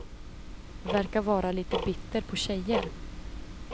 Verkar vara lite bitter på tjejer.